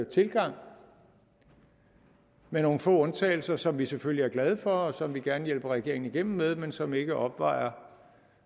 tilgang med nogle få undtagelser som vi selvfølgelig er glade for og som vi gerne hjælper regeringen igennem med men som ikke opvejer